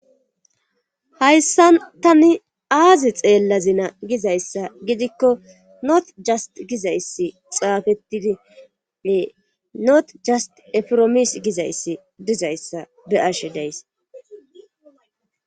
Hayssa tani aazi xeella zina gizayssa gidikko noot jast gizayssi xaafettidie not jast efiromis gizayssi dizayssa be arshe dayss.